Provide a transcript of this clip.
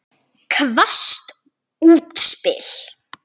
Hvasst útspil.